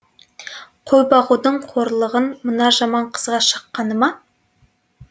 қой бағудың қорлығын мына жаман қызға шаққаны ма